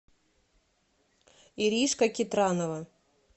иришка китранова